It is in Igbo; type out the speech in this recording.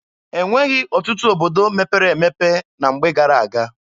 E nweghị ọtụtụ obodo mepere emepe na mgbe gara-aga.